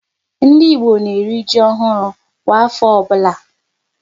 Ndị Igbo na eri ji ọhụrụ kwa afọ ọbụla